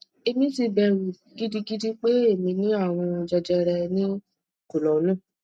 èmi ti bẹrù gidigidi pé èmi ní àrùn jejere ní kọlọnnù